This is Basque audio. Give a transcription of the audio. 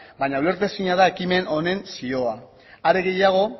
baina ulertezina da ekimen honen zioa are gehiago